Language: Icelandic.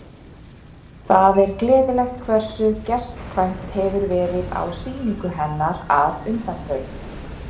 Það er gleðilegt hversu gestkvæmt hefur verið á sýningu hennar að undanförnu.